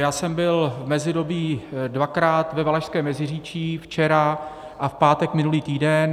Já jsem byl v mezidobí dvakrát ve Valašském Meziříčí, včera a v pátek minulý týden.